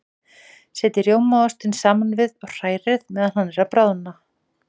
Setjið rjómaostinn saman við og hrærið meðan hann er að bráðna.